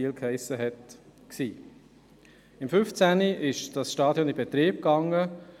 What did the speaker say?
Im Jahr 2015 wurde das Stadion in Betrieb genommen.